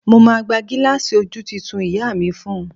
Mo máa gba gílààsì ojú tuntun ìyá mi fún un